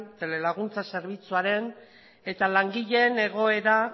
telelaguntza zerbitzuaren eta langileen egoera